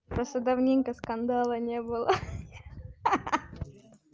просто давненько скандала не было ха ха